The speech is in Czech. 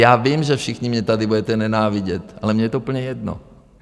Já vím, že všichni mě tady budete nenávidět, ale mně je to úplně jedno.